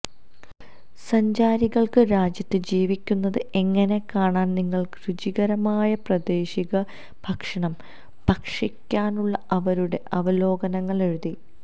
സഞ്ചാരികൾക്ക് രാജ്യത്ത് ജീവിക്കുന്നത് എങ്ങനെ കാണാൻ നിങ്ങൾ രുചികരമായ പ്രാദേശിക ഭക്ഷണം ഭക്ഷിക്കാനുള്ള അവരുടെ അവലോകനങ്ങൾ എഴുതി